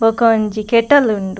ಬೊಕ ಒಂಜಿ ಕೆಟಲ್ ಉಂಡು.